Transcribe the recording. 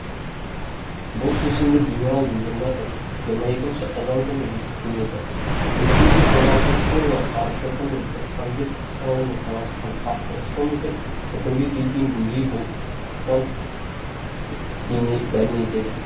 бұл шешімді генерал губернатор жиырма екінші қазан күні бекіткен еді мың сегіз жүз қырық алтыншы жылғы қарашоқы мен тоқпанбет қыстауына таласқан қақтығысты ұмытып бітімге келген бөжей болыстықтан дәме етеді